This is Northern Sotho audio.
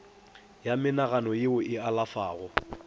ya menagano ye e alafago